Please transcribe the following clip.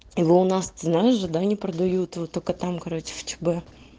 его у нас ты знаешь да не продают вот только там короче в чб